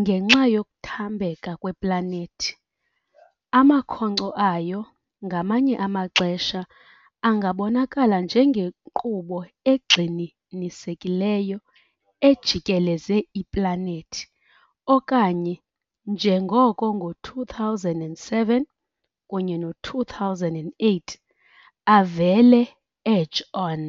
ngenxa yokuthambeka kweplanethi, amakhonkco ayo ngamanye amaxesha angabonakala njengenkqubo egxininisekileyo ejikeleze iplanethi, okanye, njengoko ngo -2007 kunye no -2008, avele edge-on.